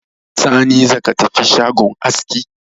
Sani, za ka tafi shagon aski